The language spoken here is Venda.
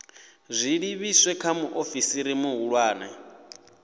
zwi livhise kha muofisi muhulwane